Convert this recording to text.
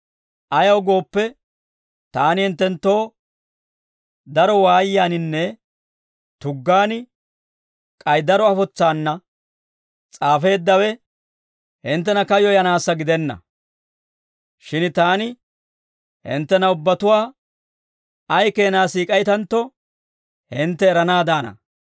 Ayaw gooppe, taani hinttenttoo daro waayiyaaninne tuggaan k'ay daro afotsaana s'aafeeddawe, hinttena kayyoyanaassa gidenna; shin taani hinttena ubbatuwaa ay keenaa siik'aytantto hintte eranaadaana.